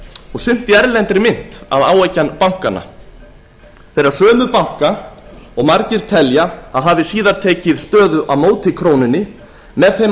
og sumt í erlendri mynt að áeggjan bankanna þeirra sömu banka og margir telja að hafi síðar tekið stöðu á móti krónunni með þeim